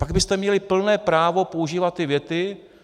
Pak byste měli plné právo používat ty věty.